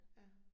Ja